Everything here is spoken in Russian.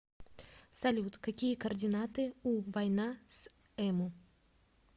салют какие координаты у война с эму